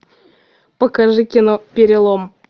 покажи кино перелом